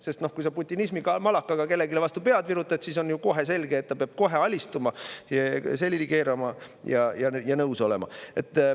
Sest kui sa putinismimalakaga kellelegi vastu pead virutad, siis on ju selge, et ta peab kohe alistuma, selili keerama ja nõus olema.